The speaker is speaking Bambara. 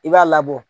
I b'a labɔ